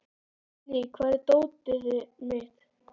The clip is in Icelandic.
Hafný, hvar er dótið mitt?